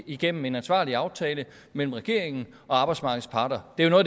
igennem en ansvarlig aftale mellem regeringen og arbejdsmarkedets parter det er jo